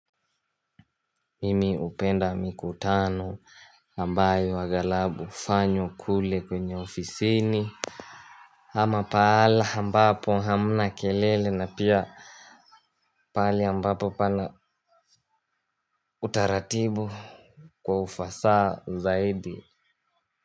Mimi hupenda mikutano ambayo aghalabu hufanywa kule kwenye ofisini. Ama pale ambapo hamna kelele na pia pale ambapo pana utaratibu kwa ufasaha zaidi.